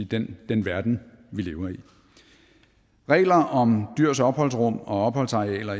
den den verden vi lever i regler om dyrs opholdsrum og opholdsarealer